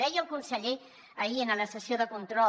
deia el conseller ahir en la sessió de control